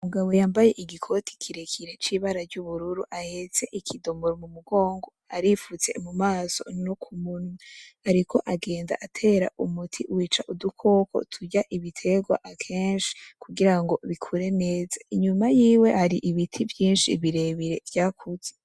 Umugabo yambaye igikote kirekire c’ibara ry’ubururu ahetse ikidomoro ku mugogo aripfutse ku maso no ku munwa ariko agenda atera umuti wica udukoko turya ibiterwa keshi kugira ngo bikure neza inyuma yiwe hari ibiti vyishi birebire vyakuze.